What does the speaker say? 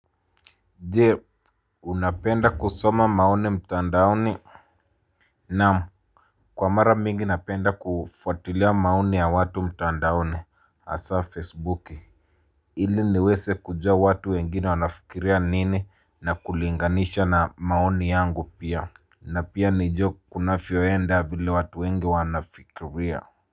Je unapenda kusoma maoni mtandaoni. Naam, kwa mara mingi napenda kufuatilia maoni ya watu mtandaoni asa facebooki. Ili niweze kujua watu wengine wanafikiria nini na kulinganisha na maoni yangu pia. Na pia nijue kunavyoenda vile watu wengi wanafikiria.